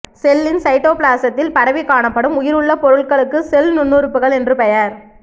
செல்லின் சைட்டோபிளாசத்தில் பரவிக் காணப்படும் உயிருள்ள பொருள்களுக்கு செல் நுண்ணுறுப்புகள் என்று பெயர்